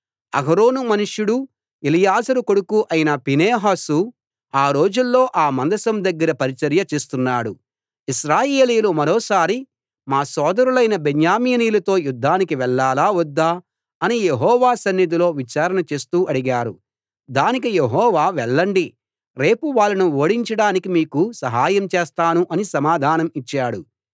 అహరోను మనుమడూ ఎలియాజరు కొడుకూ అయిన ఫీనేహసు ఆ రోజుల్లో ఆ మందసం దగ్గర పరిచర్య చేస్తున్నాడు ఇశ్రాయేలీయులు మరోసారి మా సోదరులైన బెన్యామీనీయులతో యుద్దానికి వెళ్ళాలా వద్దా అని యెహోవా సన్నిధిలో విచారణ చేస్తూ అడిగారు దానికి యెహోవా వెళ్ళండి రేపు వాళ్ళను ఓడించడానికి మీకు సహాయం చేస్తాను అని సమాధానం ఇచ్చాడు